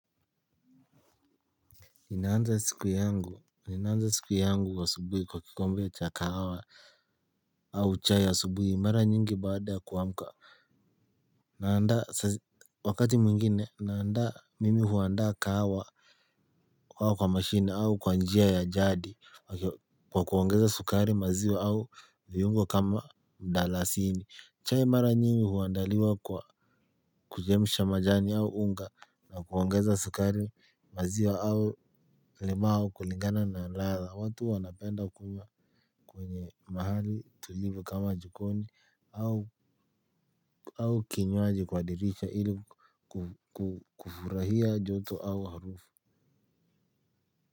Ninaanza siku yangu. Ninaanza siku yangu asubuhi kwa kikombe cha kahawa. Au chai ya subuhi mara nyingi baada ya kuamka. Naanda wakati mwingine naanda mimi huanda kahawa. Kwa kwa mashini au kwa njia ya jadi. Kwa kuongeza sukari maziwa au viungo kama mdalasini chai mara nyingi huandaliwa kwa kujemisha majani au unga. Na kuongeza sukari maziwa au limau kulingana na ladha. Watu wanapenda kunywa kwenye mahali tulivu kama jikoni. Au kinywaji kwa dirisha ili kufurahia joto au harufu.